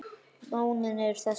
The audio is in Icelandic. Lónin eru þessi